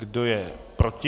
Kdo je proti?